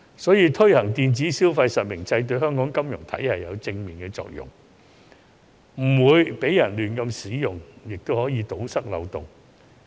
因此，推行電子消費實名制對香港金融體系有正面的作用，既保證不會出現亂用，又可以堵塞漏洞。